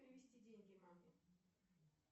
перевести деньги маме